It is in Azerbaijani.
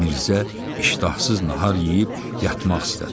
Mirzə iştahsız nahar yeyib yatmaq istədi.